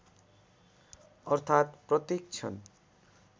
अर्थात् प्रत्येक क्षण